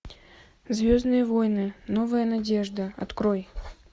звездные войны новая надежда открой